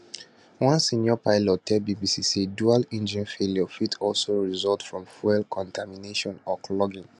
one senior pilot tell bbc say dual engine failure fit also result from fuel contamination or clogging